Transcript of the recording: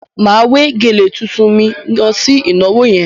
Màá wé gèlè tuntun mi lọ sí ìnàwoh yẹn.